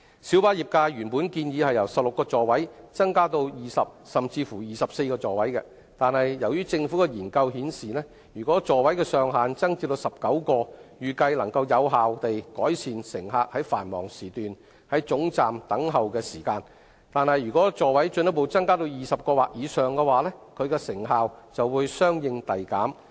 小巴業界原本建議由16個座位增至20個甚至24個座位，但由於政府的研究顯示，如果座位上限增至19個，預計能夠有效地改善乘客於繁忙時段在總站等候的時間，但如果座位進一步增加至20個或以上，其成效就會相應遞減。